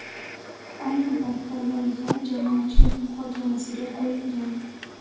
Ayni paytda loyiha jamoatchilik muhokamasiga qo‘yilgan.